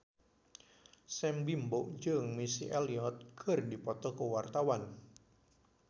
Sam Bimbo jeung Missy Elliott keur dipoto ku wartawan